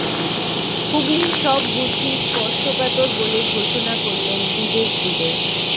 হুগলির সব বুথই স্পর্শকাতর বলে ঘোষণা করলেন বিবেক দুবে